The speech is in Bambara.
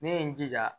Ne ye n jija